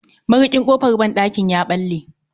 Marikin kofar banɗakin ya bale